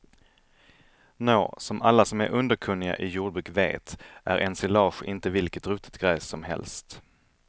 Nå, som alla som är underkunniga i jordbruk vet är ensilage inte vilket ruttet gräs som helst.